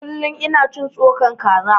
Kullum in cin tsokan kaza